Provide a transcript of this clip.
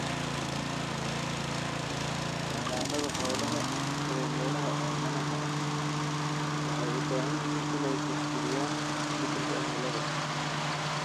Xanaanada xoolaha ee meelaha oomanaha ah waxay u baahan yihiin inay tixgeliyaan isbedelka cimilada.